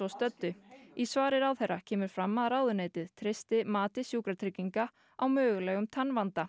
stöddu í svari ráðherra kemur fram að ráðuneytið treysti mati Sjúkratrygginga á mögulegum